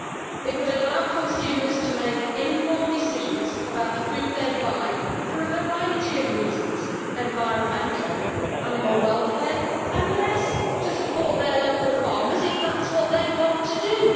It would allow consumers to make informed decisions about the food they buy for a variety of reasons environmental, animal welfare and, yes, to support their local farmers if that is what they want to do.